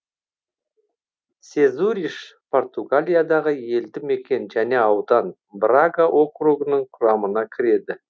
сезуриш португалиядағы елді мекен және аудан брага округінің құрамына кіреді